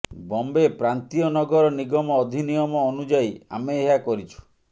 ବମ୍ବେ ପ୍ରାନ୍ତୀୟ ନଗର ନିଗମ ଅଧିନିୟମ ଅନୁଯାୟୀ ଆମେ ଏହା କରିଛୁ